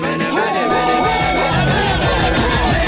міне міне міне міне міне міне міне міне міне